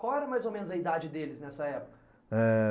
Qual era mais ou menos a idade deles nessa época? Eh,